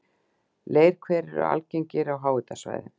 Leirhverir eru algengir á háhitasvæðum.